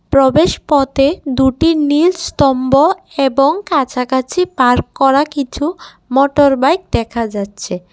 প্রবেশ পথে দুটি নীল স্তম্ভ এবং কাছাকাছি পার্ক করা কিছু মোটরবাইক দেখা যাচ্ছে।